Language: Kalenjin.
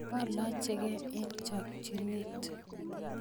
olachkee eng chokchinet